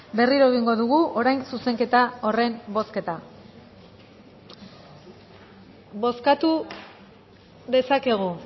berriro egingo dugu orain zuzenketa horren bozketa bozkatu dezakegu